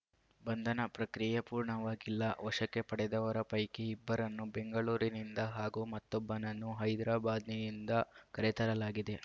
ಬಂಧನ ಪ್ರಕ್ರಿಯೆ ಪೂರ್ಣವಾಗಿಲ್ಲ ವಶಕ್ಕೆ ಪಡೆದವರ ಪೈಕಿ ಇಬ್ಬರನ್ನು ಬೆಂಗಳೂರಿನಿಂದ ಹಾಗೂ ಮತ್ತೊಬ್ಬನನ್ನು ಹೈದ್ರಾಬಾದ್‌ನಿಂದ ಕರೆತರಲಾಗಿದೆ